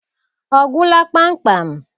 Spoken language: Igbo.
Ọ gwụla kpamkpam?